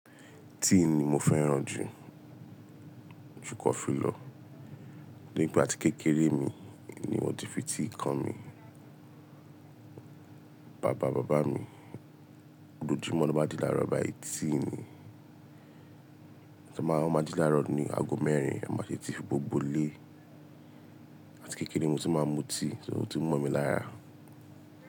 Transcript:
Tíì ni mo fẹ́ràn jù, jù kọ́ filọ. Toripe àti kékeré mi ni wọ́n ti fi tíì kọ́mi. Bàbá bàbá mi, lójú mọ́ lọ bá ji láàárọ̀ báyìí tíì ni. Ẹ máa má ji láàárọ̀ ni aago mẹ́rin, e máa tètè fi gbogbo ilé. Àti kékeré mo tí máa ń mu tíì, so ó tí mọ̀ mí lára.